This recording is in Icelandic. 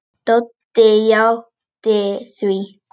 Doddi játti því.